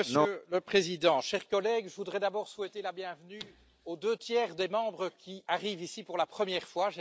Monsieur le Président, chers collègues, je voudrais d'abord souhaiter la bienvenue aux deux tiers des membres qui arrivent ici pour la première fois.